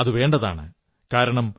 അതു വേണ്ടതാണ് കാരണം